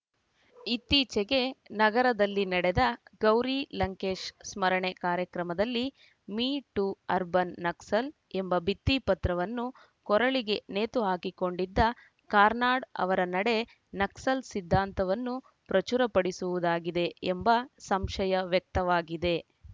ಇತ್ತೀಚೆಗೆ ನಗರದಲ್ಲಿ ನಡೆದ ಗೌರಿ ಲಂಕೇಶ್‌ ಸ್ಮರಣೆ ಕಾರ್ಯಕ್ರಮದಲ್ಲಿ ಮಿ ಟೂ ಅರ್ಬನ್‌ ನಕ್ಸಲ್‌ ಎಂಬ ಭಿತ್ತಿಪತ್ರವನ್ನು ಕೊರಳಿಗೆ ನೇತುಹಾಕಿಕೊಂಡಿದ್ದ ಕಾರ್ನಾಡ್‌ ಅವರ ನಡೆ ನಕ್ಸಲ್‌ ಸಿದ್ಧಾಂತವನ್ನು ಪ್ರಚುರಪಡಿಸುವುದಾಗಿದೆ ಎಂಬ ಸಂಶಯ ವ್ಯಕ್ತವಾಗಿದೆ